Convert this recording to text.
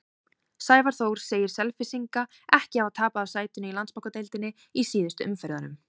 Sævar Þór segir Selfyssinga ekki hafa tapað af sætinu í Landsbankadeildinni í síðustu umferðunum.